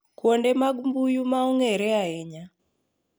Kuonde mag mbui ma ong'ere ahinya